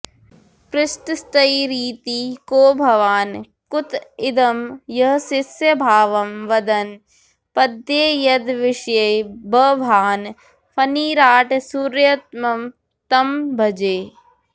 पृष्टस्तैरिति को भवान् कुत इदं यःशिष्यभावं वदन् पद्येयद्विषये बभाण फणिराट् सूर्युत्तमं तं भजे